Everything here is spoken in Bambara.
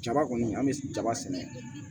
Jaba kɔni an bɛ jaba sɛnɛ